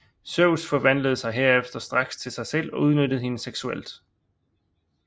Zeus forvandlede sig herefter straks til sig selv og udnyttede hende seksuelt